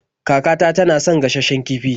Kakata tana son gashasshen kifi.